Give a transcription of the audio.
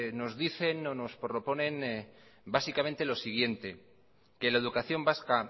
nos dicen o nos proponen básicamente lo siguiente que la educación vasca